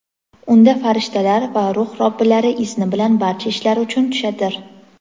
Unda farishtalar va Ruh Robbilari izni bilan barcha ishlar uchun tushadir.